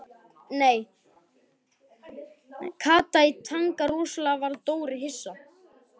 Kata í Tanga Rosalega varð Dóri hissa.